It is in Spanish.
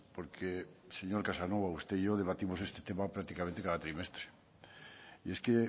porque señor casanova usted y yo debatimos este tema prácticamente cada trimestre y es que